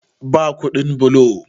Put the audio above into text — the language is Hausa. Ba kudin bulo